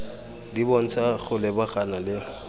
di bontsha go lebagana le